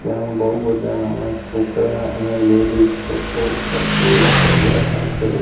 ત્યાં બઉ બધા નાના છોકરા અને લેડીઝ લોકો કપલ લોકો બેઠા છે.